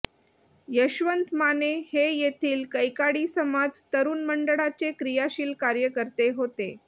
यशवंत माने हे येथील कैकाडी समाज तरुण मंडळाचे क्रियाशील कार्यकर्ते होते